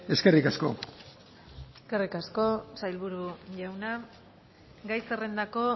eskerrik asko eskerrik asko sailburu jauna gai zerrendako